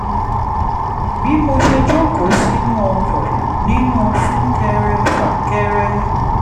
bí mo ṣe jókòó sínú ọkọ̀ nínú sún-kẹrẹ-fàkẹrẹ